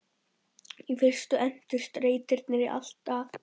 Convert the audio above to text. Í fyrstu entust reitirnir í allt að